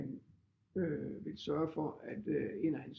Øh vil sørge for at en af hans